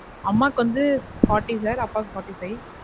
அம்மாக்கு வந்து fourty sir அப்பாக்கு fourty five